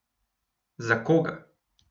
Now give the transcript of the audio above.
Za koga?